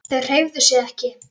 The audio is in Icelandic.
Þau hreyfðu sig ekki.